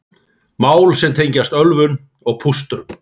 Mál sem tengjast ölvun og pústrum